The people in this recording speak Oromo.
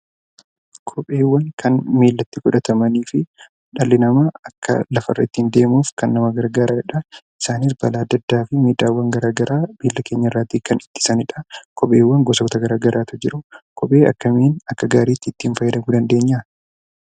Kopheewwan kan miillatti godhatamaniifi dhalli namaa akka lafarra ittiin deemuuf nama gargaaranidha. Isaanis balaa adda addaa fi miidhaawwan garaa garaa miilla keenyarraatii kan ittisanidhaa. Kopheewwan gosoota garaa garaatu jiruu. Kophee akkamiin akka gaariitti itti fayyadamuu dandeenya?